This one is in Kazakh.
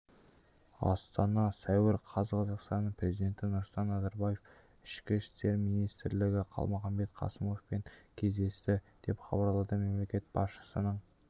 астана сәуір қаз қазақстан президенті нұрсұлтан назарбаев ішкі істер министріқалмұханбет қасымовпен кездесті деп хабарлады мемлекет басшысының